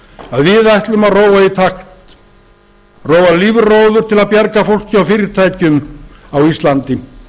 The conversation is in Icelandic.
að við ætlum að róa í takt róa lífróður til að bjarga fólki og fyrirtækjum á íslandi